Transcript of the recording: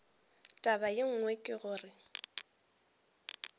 taba ye nngwe ke gore